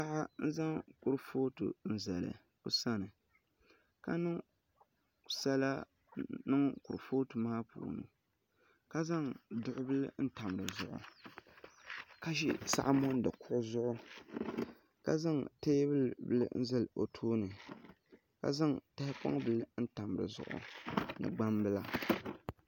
Paɣa n zaŋ kurifooti n zali o sani ka niŋ sala niŋ kurifooti maa puuni ka zaŋ duɣu bili n tam dizuɣu ka ʒi saɣa mondi kuɣu zuɣu ka zaŋ teebuli bili n zali o tooni ka zaŋ tahapoŋ bili n tam dizuɣu ni gbambila